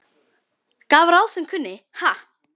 Gaf sá ráð sem kunni, ha!